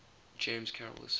james carroll asserted